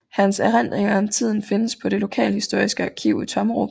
Hans erindringer om tiden findes på det lokalhistoriske arkiv i Tommerup